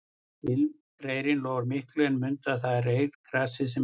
Ilmreyrinn lofar miklu en mundu að það er reyrgresið sem ilmar